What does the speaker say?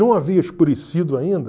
Não havia escurecido ainda.